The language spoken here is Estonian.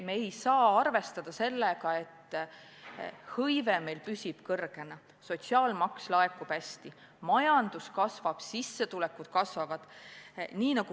Me ei saa arvestada sellega, et tööhõive püsib kõrge, et sotsiaalmaks laekub hästi, majandus kasvab, sissetulekud kasvavad.